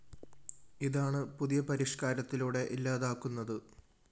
ഇതാണ് പുതിയ പരിഷ്‌കാരത്തിലൂടെ ഇല്ലാതാക്കുന്നത്